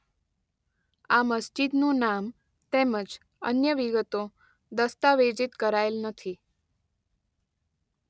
આ મસ્જિદનું નામ તેમજ અન્ય વિગતો દસ્તાવેજીત કરાયેલ નથી.